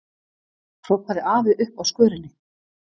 hrópaði afi uppi á skörinni.